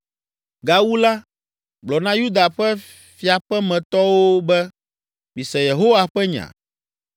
“Gawu la, gblɔ na Yuda ƒe fiaƒemetɔwo be, ‘Mise Yehowa ƒe nya: